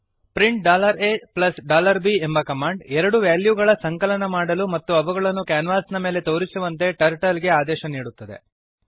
print a b ಎಂಬ command ಎರಡು ವೆಲ್ಯೂಗಳ ಸಂಕಲನ ಮಾಡಲು ಮತ್ತು ಅವುಗಳನ್ನು ಕ್ಯಾನ್ವಾಸಿನ ಮೇಲೆ ತೋರಿಸುವಂತೆ ಟರ್ಟಲ್ ಗೆ ಆದೇಶ ನೀಡುತ್ತದೆ